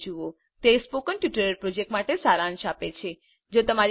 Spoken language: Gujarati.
httpspoken tutorialorg What is a Spoken Tutorial તે સ્પોકન ટ્યુટોરીયલ પ્રોજેક્ટ માટે સારાંશ આપે છે